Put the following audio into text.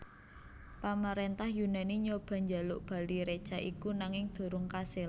Pamaréntah Yunani nyoba njaluk bali reca iku nanging durung kasil